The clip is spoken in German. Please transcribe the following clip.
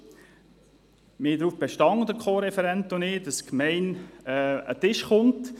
Wir, also der Co-Referent und ich, bestanden aber darauf, dass die Gemeinde sich mit uns an einen Tisch setzt.